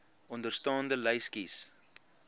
onderstaande lys kies